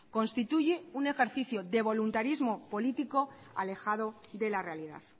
constituye un ejercicio de voluntarismo político alejado de la realidad